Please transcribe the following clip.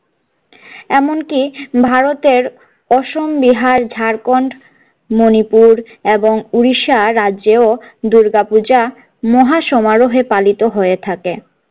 এমনকি ভারতের অসম বিহার ঝাড়খণ্ড মনিপুর এবং উড়িষ্যা রাজ্যেও দূর্গাপূজা মহা সমারোহে পালিত হয়ে থাকে।